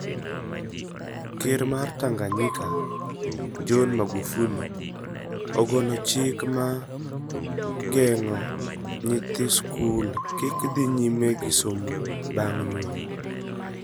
Ker mar Tanganyika, John Magufuli, ogolo chik ma geng'o nyithi skul kik dhi nyime gi somo bang' nyuol.